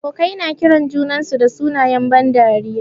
Abokai na kiran junansu da sunayen ban dariya.